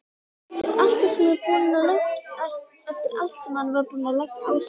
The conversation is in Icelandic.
Eftir allt sem hann var búinn að leggja á sig!